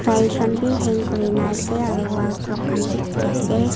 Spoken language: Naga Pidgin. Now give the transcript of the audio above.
khan bi hang kurina ase aro wall clock khan bi dikhi ase.